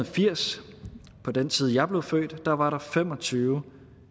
firs på den tid jeg blev født var fem og tyve